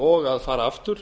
og að fara aftur